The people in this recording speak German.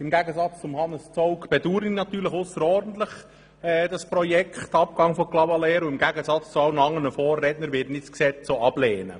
Im Gegensatz zu Grossrat Zaugg bedaure ich das Projekt Abgabe von Clavaleyres natürlich ausserordentlich, und im Gegensatz zu all meinen Vorrednern werde ich das Gesetz auch ablehnen.